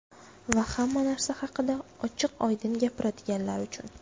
Va hamma narsa haqida ochiq-oydin gapiradiganlar uchun.